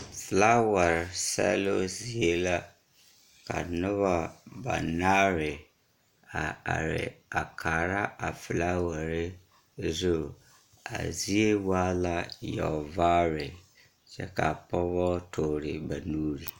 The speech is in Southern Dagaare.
Filaaware sԑloo zie la. Ka noba banaare a are a kaara a filaaware zu. A zie waa la yͻͻvaare kyԑ ka a pͻgebͻ toore ba nuuri.